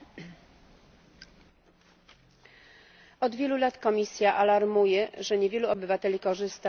Od wielu lat Komisja alarmuje, że niewielu obywateli korzysta z prawa do poszukiwania pracy w ramach jednolitego rynku.